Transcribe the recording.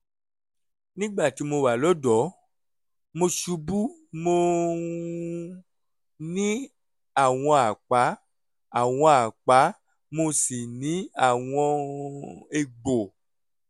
nígbà tí mo wà lọ́dọ̀ọ́ mo ṣubú mo um ní àwọn àpá àwọn àpá mo sì ní àwọn um egbò